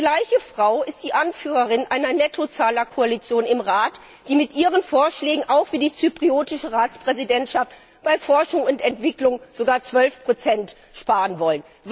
Die gleiche Frau ist die Anführerin einer Nettozahlerkoalition im Rat, die mit ihren Vorschlägen auch für die zyprische Ratspräsidentschaft bei Forschung und Entwicklung sogar 12 einsparen will.